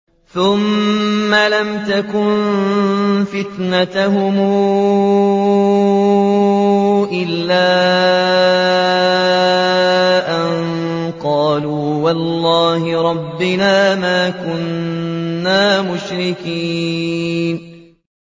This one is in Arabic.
ثُمَّ لَمْ تَكُن فِتْنَتُهُمْ إِلَّا أَن قَالُوا وَاللَّهِ رَبِّنَا مَا كُنَّا مُشْرِكِينَ